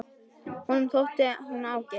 Honum þótti hún ágæt.